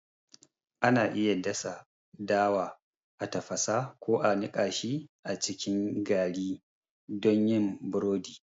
Ana iya dasa dawa, a tafasa, ko a niƙa shi a cikin gari don yin burodi.